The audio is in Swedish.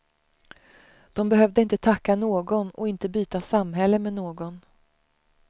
De behövde inte tacka någon, och inte byta samhälle med någon.